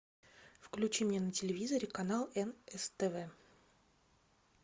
включи мне на телевизоре канал нств